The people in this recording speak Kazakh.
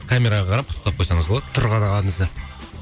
камераға қарап құттықтап қойсаңыз болады тұрған ағамызды